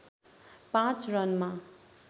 पाँच रनमा